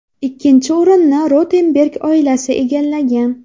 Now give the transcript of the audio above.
Ikkinchi o‘rinnni Rotenberg oilasi egallagan.